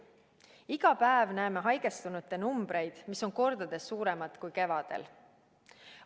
Iga päev näeme haigestunute numbreid, mis on kordades suuremad kui kevadel.